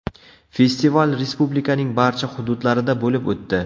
Festival Respublikaning barcha hududlarida bo‘lib o‘tdi.